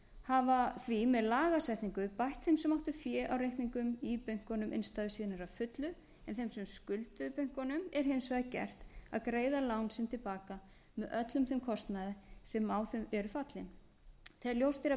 hafa því með lagasetningu bætt þeim sem áttu fé á reikningum í bönkunum innstæður sínar að fullu en þeim sem skulduðu bönkunum er hins vegar gert að greiða lán sín til baka með öllum þeim kostnaði sem á þau er fallinn þegar ljóst er að